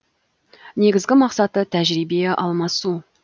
негізгі мақсаты тәжірибе алмасу